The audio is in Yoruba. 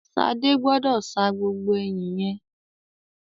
Ṣadé gbọ́dọ̀ sa gbogbo ẹyìn yẹn.